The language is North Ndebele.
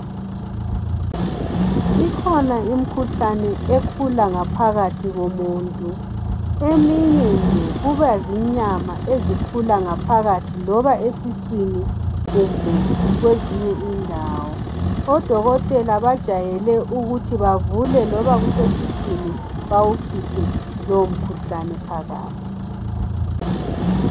Ikhona imikhuhlane ekhula ngaphakathi komuntu. Eminye nje kuba zinyama ezikhula ngaphakathi loba esiswini kumbe kwezinye indawo. Odokotela bajayele ukuthi bavule loba kusesisweini bawukhiphe lowo mkhuhlane phakathi.